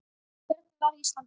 Hvernig varð Ísland til?